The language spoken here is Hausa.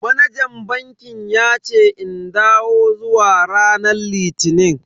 Manajan bankin yace in dawo zuwa ranar litini.